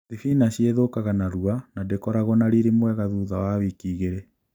Thibinachi ithũkaga narua na ndĩkoragwo na riri mwega thutha wa wiki igĩlĩ